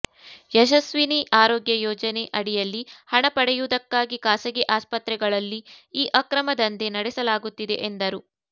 ಯಶಸ್ವಿನಿ ಆರೋಗ್ಯ ಯೋಜನೆ ಅಡಿಯಲ್ಲಿ ಹಣ ಪಡೆಯುವುದಕ್ಕಾಗಿ ಖಾಸಗಿ ಆಸ್ಪತ್ರೆಗಳಲ್ಲಿ ಈ ಅಕ್ರಮ ದಂಧೆ ನಡೆಸಲಾಗುತ್ತಿದೆ ಎಂದರು